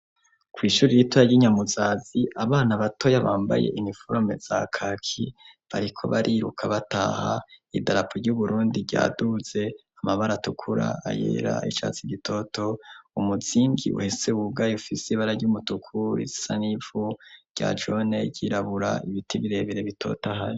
kw' ishuri yitoya ry'inyamuzazi abana batoya bambaye iniforome za kaki bariko bariruka bataha idarapo ry'uburundi ryaduze amabara tukura ayera icatsi gitoto umuzinbwi uhese wugaye ufisi bara ry'umutuku isanivu rya jone y'irabura ibiti birebere bitotahaye